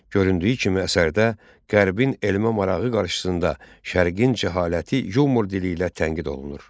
Göründüyü kimi əsərdə Qərbin elmə marağı qarşısında Şərqin cəhaləti yumor dili ilə tənqid olunur.